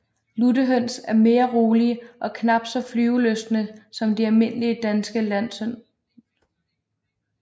Luttehøns er mere rolige og knap så flyvelystne som de almindelige danske landhøns